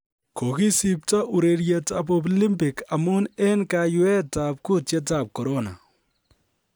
Kogisipto urerietab Olimpik amun en kaiyweetab kutietab Corona